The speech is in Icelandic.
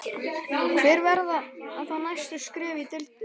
Hver verða þá næstu skref í deilunni?